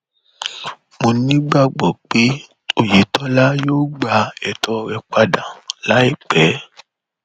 mo nígbàgbọ pé òyetòlá yóò gba ètò rẹ padà láìpẹ